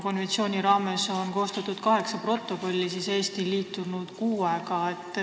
Konventsiooni raames on koostatud kaheksa protokolli, Eesti aga on liitunud vaid kuuega.